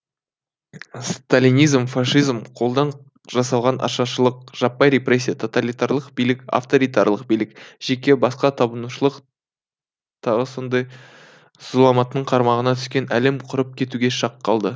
сталинизм фашизм қолдан жасалған ашаршылық жаппай репрессия тоталитарлық билік авторитарлық билік жеке басқа табынушылық т с с зұлматтың қармағына түскен әлем құрып кетуге шақ қалды